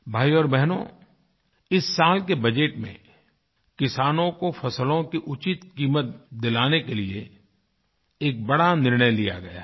भाइयो और बहनो इस साल के बजट में किसानों को फसलों की उचित क़ीमत दिलाने के लिए एक बड़ा निर्णय लिया गया है